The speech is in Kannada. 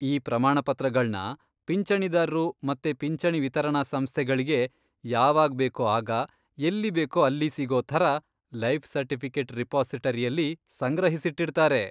ಈ ಪ್ರಮಾಣ ಪತ್ರಗಳ್ನ ಪಿಂಚಣಿದಾರ್ರು ಮತ್ತೆ ಪಿಂಚಣಿ ವಿತರಣಾ ಸಂಸ್ಥೆಗಳ್ಗೆ ಯಾವಾಗ್ಬೇಕೋ ಆಗ, ಎಲ್ಲಿ ಬೇಕೋ ಅಲ್ಲಿ ಸಿಗೋ ಥರ ಲೈಫ್ ಸರ್ಟಿಫಿಕೆಟ್ ರಿಪಾಸಿಟರಿಯಲ್ಲಿ ಸಂಗ್ರಹಿಸಿಟ್ಟಿರ್ತಾರೆ.